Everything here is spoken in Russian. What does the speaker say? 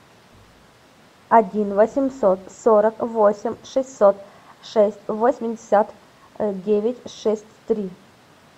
один восемьсот сорок восемь шестьсот шесть восемьдесят девять шесть три